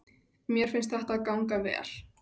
Mér fannst þetta ganga vel.